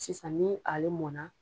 Sisan ni ale mɔnna